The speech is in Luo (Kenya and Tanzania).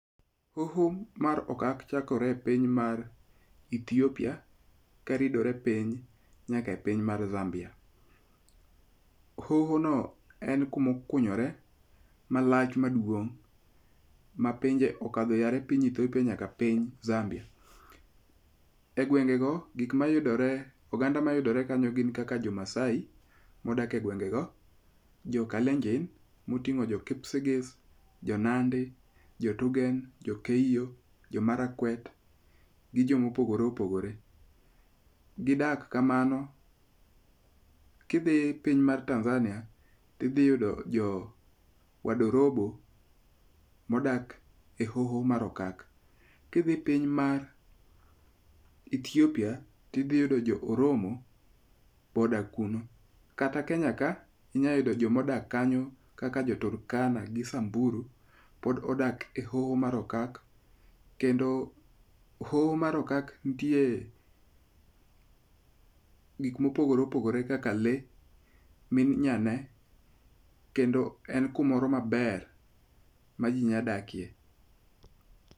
Hoho mar okak chakore epiny mar Ethiopia ka ridore piny nyaka e piny mar Zambia. Hoho no en kumokunyore malach maduong' mapinje okadhe yare piny Ethiopia nyaka piny Zambia. E gwenge go gik mayudore oganda mayudore kanyo gin kaka jo Maasai modak e gwenge go. Jo Kalenjin moting'o jo Kipsigis, jo Nandi, jo Turgen, jo Keiyo, jo Marakwet, gi jomopogore opogore. Gidak kamano. Ki dhi piny mar Tanzania ti dhi yudo jo wadorobo modak e hoho mar okak. Ki dhi e piny mar Ethiopia, ti dhi yudo jo Oromo bo odak kuno. Kata Kenya ka inyayudo jomodak kanyo kaka jo Turkana gi Samburu pod odak e hoho mar okak. Kendo hoho mar okak nitie gik mopogore opogore kaka le minyane kendo en kumoro maber ma ji nya dakie.